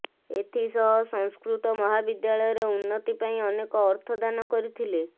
ଏଥି ସହ ସଂସ୍କୃତ ମହାବିଦ୍ୟାଳୟର ଉନ୍ନତି ପାଇଁ ଅନେକ ଅର୍ଥ ଦାନ କରିଥିଲେ